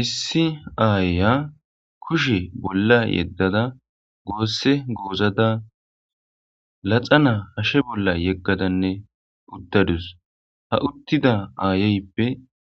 Issi aaya kushe bolla yeddada goosse goozada laxa naa hashshe bolla yeggadanne uttadus ha uttida aayeyppe